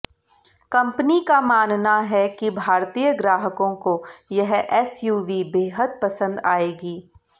company का मानना है कि भारतीय ग्राहकों को यह एसयूवी बेहद पसंद आयेगी